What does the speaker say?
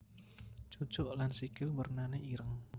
Cucuk lan sikil wernané ireng